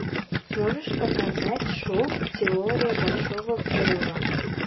можешь показать шоу теория большого взрыва